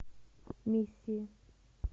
миссии